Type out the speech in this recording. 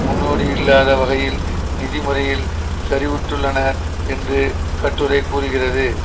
முன்னோடியில்லாத வகையில் நிதி முறையில் சரிவுற்றுள்ளனர் என்று கட்டுரை கூறுகிறது